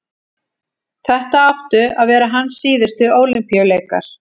þetta áttu að vera hans síðustu ólympíuleikar